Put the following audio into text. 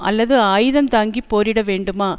அல்லது ஆயுதந்தாங்கிப் போரிட வேண்டுமா